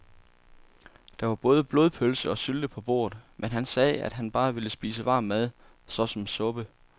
Der var både blodpølse og sylte på bordet, men han sagde, at han bare ville spise varm mad såsom suppe.